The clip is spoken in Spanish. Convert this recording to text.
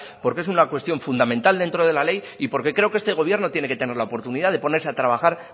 porque es una cuestión fundamental dentro de la ley y porque creo que este gobierno tiene que tener la oportunidad de ponerse a trabajar